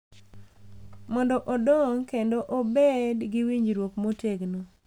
Mondo odong’ kendo obed gi winjruok motegno.